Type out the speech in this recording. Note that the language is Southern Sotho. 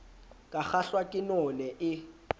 ka kgahlwa ke none e